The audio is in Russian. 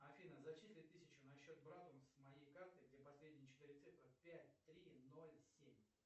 афина зачисли тысячу на счет брата с моей карты где последние четыре цифры пять три ноль семь